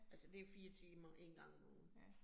Altså det 4 timer 1 gang om ugen